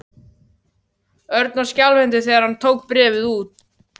Örn var skjálfhentur þegar hann tók bréfið úr.